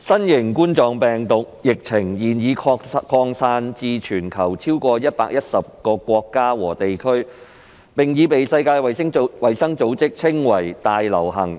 新型冠狀病毒疫情現已擴散至全球超過110個國家和地區，並已被世界衞生組織稱為"大流行"。